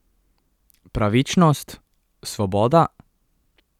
Pravičnost, Svoboda?